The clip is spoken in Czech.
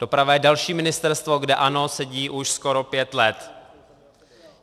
Doprava je další ministerstvo, kde ANO sedí už skoro pět let.